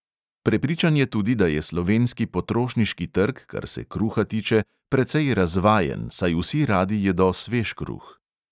Prepričan je tudi, da je slovenski potrošniški trg, kar se kruha tiče, precej razvajen, saj vsi radi jedo svež kruh.